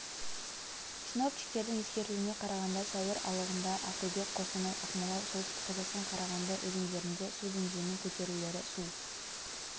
синоптиктердің ескертуіне қарағанда сәуір алығында ақтөбе қостанай ақмола солтүстік қазақстан қарағанды өзендерінде су деңгейінің көтерілулері су